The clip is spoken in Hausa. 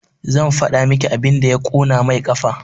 Zan faɗa maki abin da ya ƙona main ƙafa